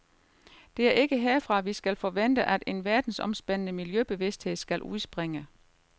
Det er ikke herfra vi skal forvente at en verdensomspændende miljøbevidsthed skal udspringe.